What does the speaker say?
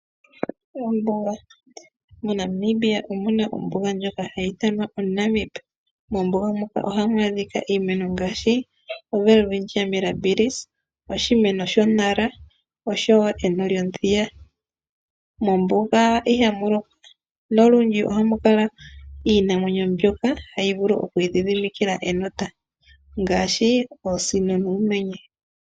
MoNamibia omu na ombuga ndjoka hayi ithanwa oNamib. Mombuga muka ohamu adhika iimeno ngaashi oWelwitchia Mirabiris, oshimeno shoNara osho wo eno lyomuthiya. Mombuga ihamu lokwa nolundji ohamu kala iinamwenyo mbyoka hayi vulu oku idhidhimikila enota ngaashi oosino nuumenye.